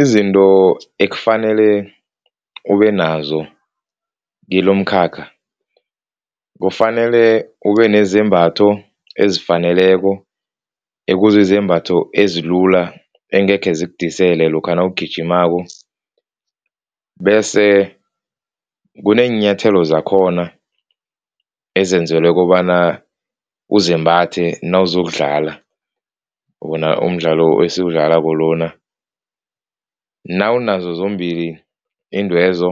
Izinto ekufanele ubenazo kilomkhakha, kufanele ubenezembatho ezifaneleko, ekuzizembatho ezilula engekhe zikudisele lokha nawugijimako bese kuneenyathelo zakhona ezenzelwe kobana uzembathe nawuzokudlala bona umdlalo esiwudlalakolona. Nawunazo zombili iintwezo